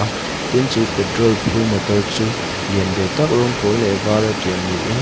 ah tin chu petrol phur motor chu lian ve tak rawng pawl leh var a tial niin--